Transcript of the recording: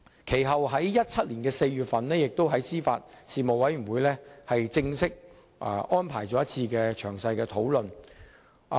其後，在2017年4月，司法及法律事務委員會亦正式安排了一次討論。